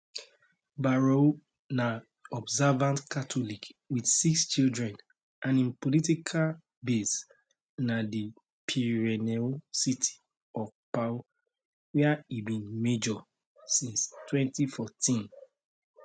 bayrou na observant catholic wit six children and im political base na di pyrenean city of pau wia e bin mayor since 2014